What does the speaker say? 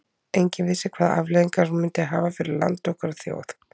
Enginn vissi hvaða afleiðingar hún myndi hafa fyrir land okkar og þjóð.